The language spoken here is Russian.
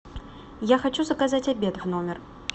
я хочу заказать обед в номер